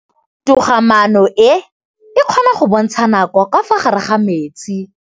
Toga-maanô e, e kgona go bontsha nakô ka fa gare ga metsi.